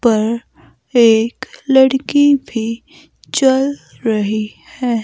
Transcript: पर एक लड़की भी चल रही है।